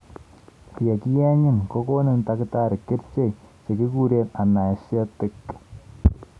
Yekiyeenyin kokonin takitari kercheek chekikuren anaeshetic